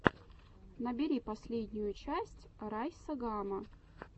набери последнюю часть райса гама